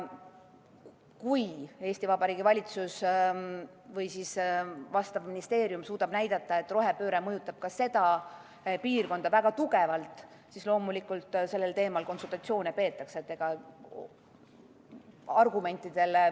Kui Eesti Vabariigi valitsus või vastav ministeerium suudab näidata, et rohepööre mõjutab ka seda piirkonda väga tugevalt, siis loomulikult sellel teemal konsultatsioone peetakse.